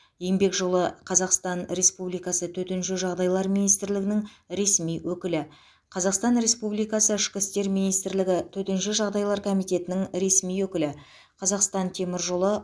еңбек жолы қазақстан республикасы төтенше жағдайлар министрлігінің ресми өкілі қазақстан республикасы ішкі істер министрлігі төтенше жағдайлар комитетінің ресми өкілі қазақстан темір жолы